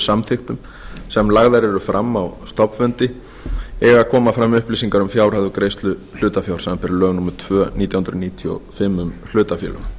samþykktum sem lagðar eru fram á stofnfundi eiga að koma fram upplýsingar um fjárhæð og greiðslu hlutafjár samanber lög númer tvö nítján hundruð níutíu og fimm um hlutafélög